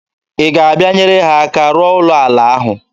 Ị ga-abịa nyere ha aka rụọ ụlọ ala ahụ?